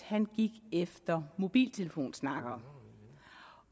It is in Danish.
gik efter mobiltelefonsnakkere